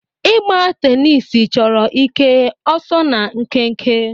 Ịgba tenisi chọrọ ike, ọsọ na nkenke.